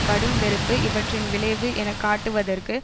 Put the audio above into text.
கடும் வெறுப்பு இவற்றின் விளைவு என காட்டுவதற்கு